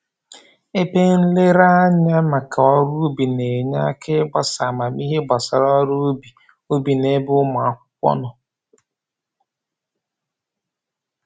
Ebe nlereanya maka ọrụ ubi na-enye aka ịgbasa amamihe gbasara ọrụ ubi ubi n'ebe ụmụ akwụkwọ nọ